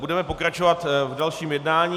Budeme pokračovat v dalším jednání.